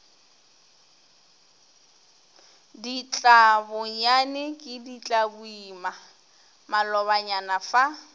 ditlabonyane ke ditlaboima malobanyana fa